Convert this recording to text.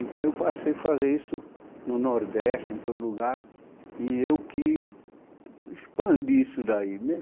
Então eu passei a fazer isso no Nordeste, em todo lugar, e eu que expandi isso daí né